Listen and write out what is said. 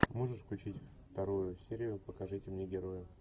можешь включить вторую серию покажите мне героя